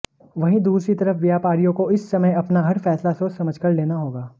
वहीं दूसरी तरफ व्यापारियों को इस समय अपना हर फैसला सोच समझकर लेना होगा